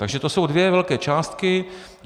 Takže to jsou dvě velké částky.